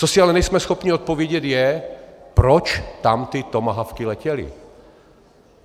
Co si ale nejsme schopni odpovědět, je, proč tam ty tomahawky letěly.